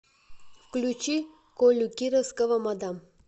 включи колю кировского мадам